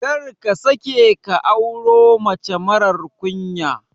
Karka sake ka auro mace marar ƙunya.